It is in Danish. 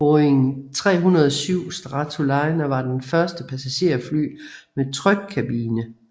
Boeing 307 Stratoliner var det første passagerfly med trykkabine